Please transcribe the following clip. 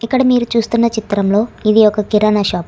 ఇక్కడ మీరు చూస్తున్న చిత్రంలో ఇది ఒక కిరణా షాప్ .